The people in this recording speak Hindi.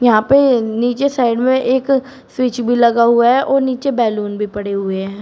यहां पे नीचे साइड में एक स्विच भी लगा हुआ है और नीचे बैलून भी पड़े हुए हैं।